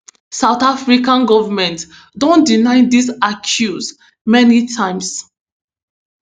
south african goment don deny dis accuse many times